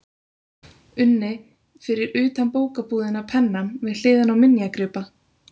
unni, fyrir utan bókabúðina Pennann, við hliðina á minjagripa